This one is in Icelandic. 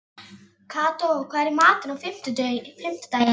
Kató, hvað er í matinn á fimmtudaginn?